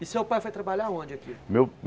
E seu pai foi trabalhar aonde aqui? Meu